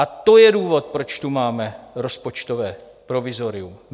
A to je důvod, proč tu máme rozpočtové provizorium.